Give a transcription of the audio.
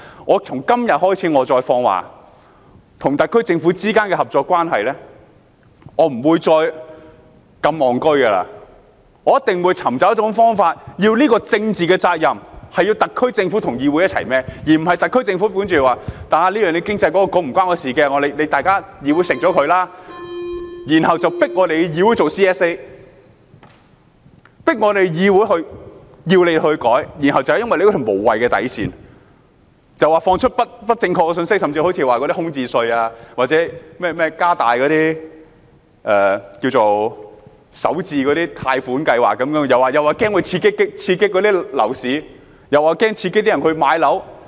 我從今天開始再放話，就與特區政府之間的合作關係，我不會再如此"戇居"，我一定會尋找一種方法，要特區政府與議會一同承擔政治責任，而不是讓特區政府推說與負責經濟的政策局無關，要由議會一力承擔，然後迫使議會提出全體委員會審議階段修正案，要求政府改動，然後就因為無謂的底線，政府發放不正確的信息，甚至好像"空置稅"或加大首次置業的貸款計劃般，說擔心刺激樓市，又說會刺激市民買樓。